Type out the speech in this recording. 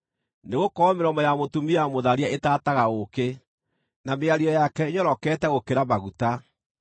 Nĩgũkorwo mĩromo ya mũtumia mũtharia itaataga ũũkĩ, na mĩario yake ĩnyorokete gũkĩra maguta;